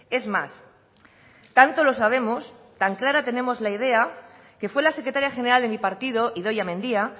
es más tanto lo sabemos tan clara tenemos la idea que fue la secretaria general de mi partido idoia mendia